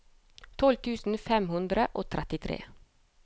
tolv tusen fem hundre og trettitre